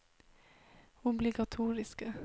obligatoriske